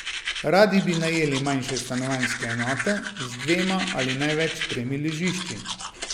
Radi bi najeli manjše stanovanjske enote, z dvema ali največ tremi ležišči.